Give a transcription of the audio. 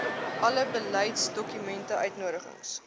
alle beleidsdokumente uitnodigings